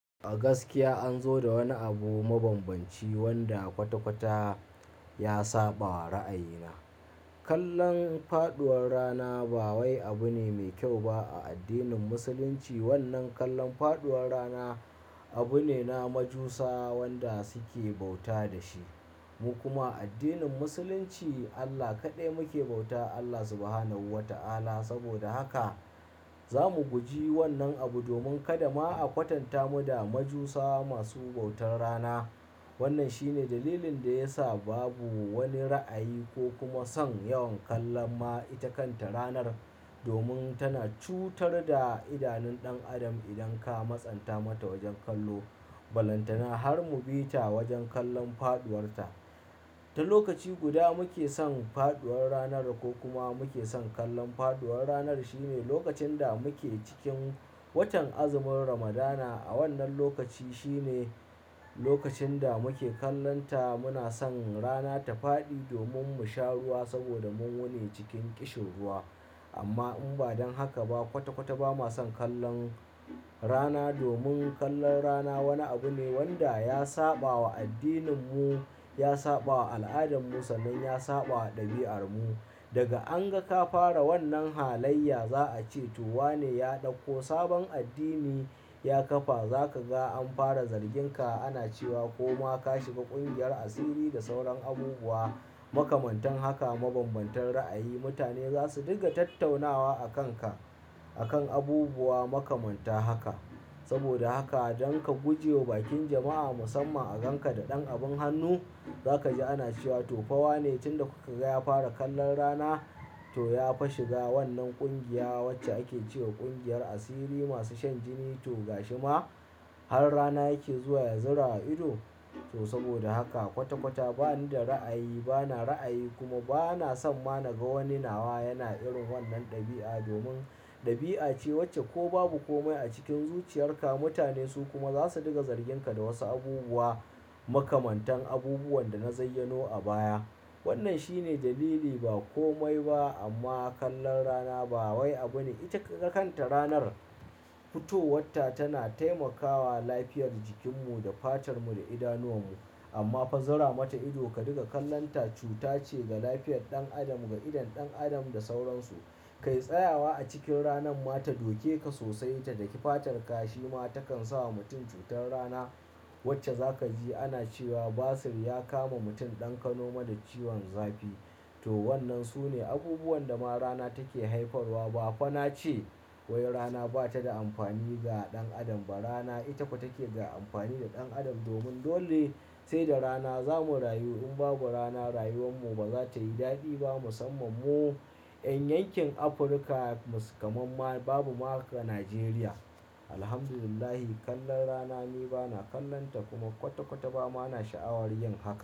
A gaskiya an zo da wani abu mabambanci wanda kwata-kwata ya saɓawa ra'ayina. Kallon faɗuwar rana ba wai abu ne mai kyau ba a addinin Musulunci. Wannan kallon faɗuwar rana abu ne na majusa wanda suke bauta da shi. Mu kuma a addinin Musulunci Allah kaɗai muke bauta, Allah Subhanahu wa ta'ala. Saboda haka za mu guji wannan abu domin kada ma a kwatanta mu da majusa masu bautar rana. Wannan shine dalilin da ya sa babu wani ra'ayi ko kuma son yawan kallon ma ita kanta ranar domin tana cutar da idanun ɗan adam idan ka masanta mata wajen kallo. Balantana har mu bi ta wajen kallon faɗuwarta. Ta lokaci guda muke son faɗuwar ranar ko kuma muke son kallon faɗuwar ranar shine lokacin da muke cikin watan azumin Ramadana. A wannan lokaci shine lokacin da muke kallonta muna son rana ta faɗi domin mu sha ruwa saboda mun wune cikin ƙishirwa. Amma in ba don haka ba kwata-kwata ba ma son kallon rana domin kallon rana wani abu ne wanda ya saɓa wa addininmu, ya saɓa wa al'adar Musulmai, ya saɓa wa ɗabi'armu. Daga an ga ka fara wannan halayya za a ce to wane ya ɗauko sabon addini ya kafa. Za ka ga an fara zarginka ana cewa ko ma ka shiga ƙungiyar asiri da sauran abubuwa makamantan haka mabambantan ra'ayi. Mutane za su dinga tattaunawa a kanka a kan abubuwa makamanta haka. Saboda haka don ka guje wa bakin jama'a musamman a ganka da ɗan abin hannu, za ka ji ana cewa to fawa ne tunda kuka ga ya fara kallon rana to ya fa shiga wannan ƙungiya wacce ake ce wa ƙungiyar asiri masu shan jini to ga shi ma har rana yake zuwa ya zura wa ido. To saboda haka kwata-kwata bani da ra'ayi, bana ra'ayi kuma bana son ma naga wani nawa yana irin wannan ɗabi'a domin ɗabi'a ce wacce ko babu komai a cikin zuciyarka mutane su kuma za su diga zarginka da wasu abubuwa makamantan abubuwan da na zayyano a baya. Wannan shine dalili ba komai ba amma kallon rana ba wai abu ne. Ita kakan ta ranar fitowarta tana taimakawa lafiyar jikinmu da fatarmu da idanuwanmu amma fa zura mata ido ka diga kallonta cuta ce ga lafiyar ɗan adam, ga idon ɗan adam da sauransu. Kai tsayawa a cikin ranan ma ta doke ka sosai ta daki fatarka shi ma takan sa wa mutum cutar rana wacce za ka ji ana cewa basir ya kama mutum ɗan ka noma da ciwon zafi. To wannan su ne abubuwan da ma rana take haifarwa. Ba fa na ce wai rana ba ta da amfani ga ɗan adam ba. Rana ita ko take ga amfani da ɗan adam domin dole sai da rana za mu rayu. In babu rana rayuwar mu ba za ta yi daɗi ba musamman mu 'yan yankin Afirka mus kamam ma babu ma haka Najeriya. Alhamdulillah kallon rana ni bana kallonta kuma kwata-kwata ba ma na sha'awar yin haka.